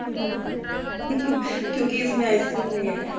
ਅੱਛੀ ਨਹੀਂ ਹੈ ਕਿਉਂਕਿ ਇਸ ਮੈਂ ice cream ਨਹੀਂ ਹੈ